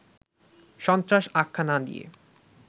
সন্ত্রাস আখ্যা না দিয়ে